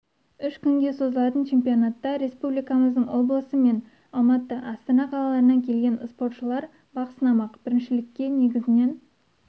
үш күнге созылатын чемпионатта республикамыздың облысы мен алматы астана қалаларынан келген спортшылар бақ сынамақ біріншілікке негізінен